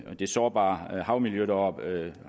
sårbare havmiljø deroppe